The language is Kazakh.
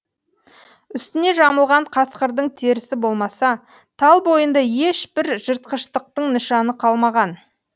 үстіне жамылған қасқырдың терісі болмаса тал бойында еш бір жыртқыштықтың нышаны қалмаған